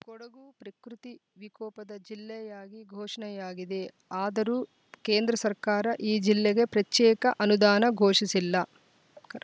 ಕೊಡಗು ಪ್ರಕೃತಿ ವಿಕೋಪದ ಜಿಲ್ಲೆಯಾಗಿ ಘೋಷಣೆಯಾಗಿದೆ ಆದರೂ ಕೇಂದ್ರ ಸರ್ಕಾರ ಈ ಜಿಲ್ಲೆಗೆ ಪ್ರಚೇಕ ಅನುದಾನ ಘೋಷಿಸಿಲ್ಲ